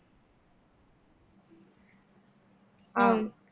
ஆஹ்